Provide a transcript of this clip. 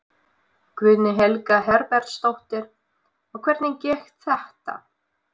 Guðný Helga Herbertsdóttir: Og hvernig gekk þetta?